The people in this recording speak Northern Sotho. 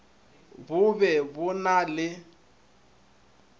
bo be bo na le